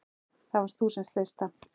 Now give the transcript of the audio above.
Það varst þú sem sleist það.